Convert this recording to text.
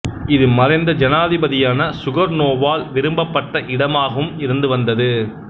இது மறைந்த ஜனாதிபதியான சுகர்னோவால் விரும்பப்பட்ட இடமாகவும் இருந்து வந்தது